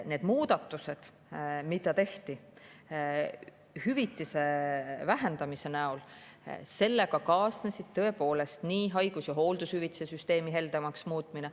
Nende muudatustega, mida tehti hüvitise vähendamise näol, kaasnes tõepoolest haigus- ja hooldushüvitiste süsteemi heldemaks muutmine.